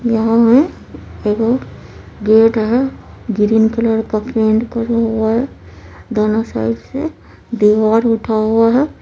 यहाँ है एगो गेट है ग्रीन कलर का पेंट करा हुआ है दोनों साइड से दीवार उठा हुआ है|